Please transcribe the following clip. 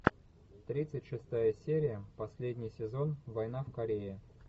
тридцать шестая серия последний сезон война в корее